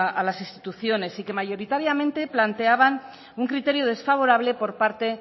a las instituciones y que mayoritariamente planteaban un criterio desfavorable por parte